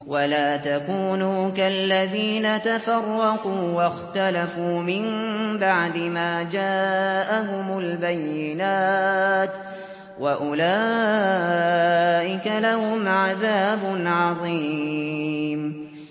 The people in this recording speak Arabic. وَلَا تَكُونُوا كَالَّذِينَ تَفَرَّقُوا وَاخْتَلَفُوا مِن بَعْدِ مَا جَاءَهُمُ الْبَيِّنَاتُ ۚ وَأُولَٰئِكَ لَهُمْ عَذَابٌ عَظِيمٌ